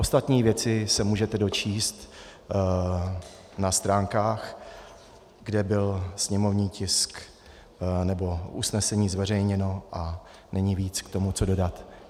Ostatní věci se můžete dočíst na stránkách, kde byl sněmovní tisk nebo usnesení zveřejněno, a není víc, co k tomu dodat.